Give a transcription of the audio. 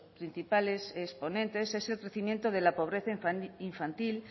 principales exponentes es el crecimiento de la pobreza infantil